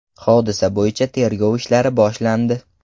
Hodisa bo‘yicha tergov ishlari boshlandi.